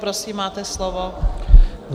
Prosím, máte slovo.